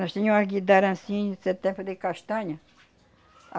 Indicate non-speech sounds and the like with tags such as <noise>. Nós tinha uma <unintelligible> setenta de castanha.